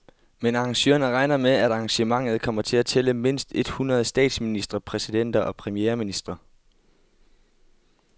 Men arrangørerne regner med, at arrangementet kommer til at tælle mindst et hundrede statsministre, præsidenter og premierministre.